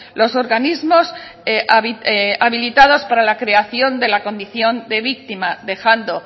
los organismos habilitados para la creación de la condición de víctima dejando